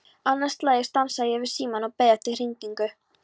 Annað slagið stansaði ég við símann og beið eftir hringingu.